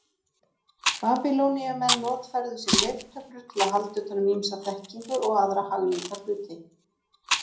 Babýloníumenn notfærðu sér leirtöflur til að halda utan um ýmsa þekkingu og aðra hagnýta hluti.